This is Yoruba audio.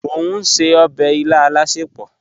Mọ̀ n ṣẹ̀ ọbẹ̀ ilà alásẹpọ̀.